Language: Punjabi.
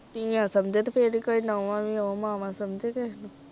ਧੀਆਂ ਸਮਝੇ ਤੇ ਫੇਰ ਈ ਕੋਈ ਨੌਵਾਂ ਵੀ ਓ ਮਾਵਾਂ ਸਮਝੇ ਕੇ।